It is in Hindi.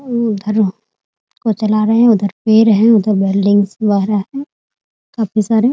उधर चला रहे हैं उधर पेड़ हैं उधर बिल्डिंग्स वगेरह है काफी सारे --